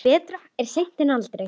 Betra er seint en aldrei!